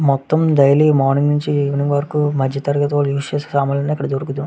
మొత్తం daily morning నుండి evening వరకు మధ్య తరగతి ఉస్ చేసే సమాలు అన్ని ఇక్కడ దొరుకుతాయి.